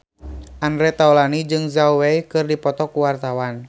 Andre Taulany jeung Zhao Wei keur dipoto ku wartawan